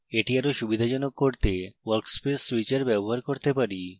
এটি আরো সুবিধাজনক করতে workspace switcher ব্যবহার করতে পারি